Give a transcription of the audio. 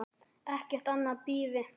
Ekkert annað bíði.